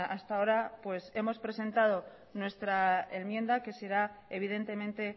hasta ahora hemos presentado nuestra enmienda que será evidentemente